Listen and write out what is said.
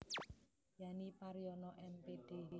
Yani Paryono M Pd